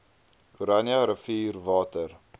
oranje rivier water